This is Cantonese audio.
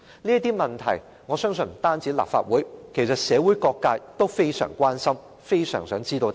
這些問題，我相信不單立法會，其實社會各界也非常關心，非常想知道答案。